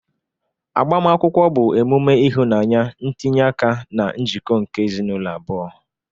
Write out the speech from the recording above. Agbamakwụkwọ bụ emume ịhụnanya, ntinye aka na njikọ nke ezinaụlọ abụọ.